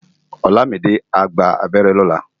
Olamide á gbá ábèrè lòlá